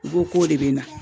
U ko k'o de bɛ n na.